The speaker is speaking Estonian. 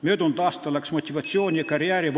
Möödunud aastal läks motivatsiooni ja karjääri ...